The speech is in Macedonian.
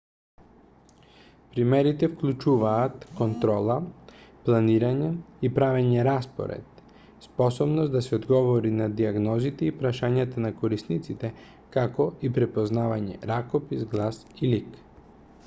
примерите вклучуваат контрола планирање и правење распоред способност да се одговори на дијагнозите и прашањата на корисниците како и препознавање ракопис глас и лик